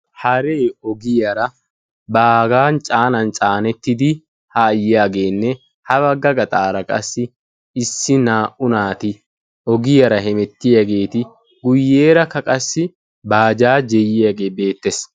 Haree ogiyaara baagaa caanan caanettidi haa yiyaageenne ha bagga gaxaara qassi issi naa''u naati ogiyaara hemettiyaageti guyeerakka qassi bajaajee yiyaagee beettees.